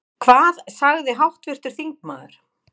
Hvað sagði háttvirtur þingmaður?